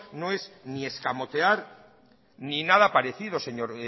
no es ni escamotear ni nada parecido señor